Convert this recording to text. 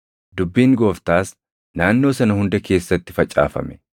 Dubbiin Gooftaas naannoo sana hunda keessatti facaafame.